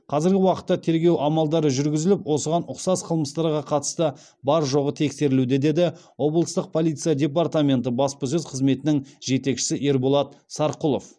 қазіргі уақытта тергеу амалдары жүргізіліп осыған ұқсас қылмыстарға қатысты бар жоғы тексерілуде деді облыстық полиция департаменті баспасөз қызметінің жетекшісі ерболат сарқұлов